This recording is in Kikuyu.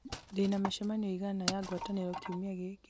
ndĩna mĩcemanio ĩigana ya ngwatanĩrwo kiumia gĩkĩ